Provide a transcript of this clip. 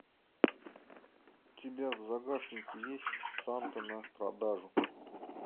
у тебя в загашнике есть санта на продажу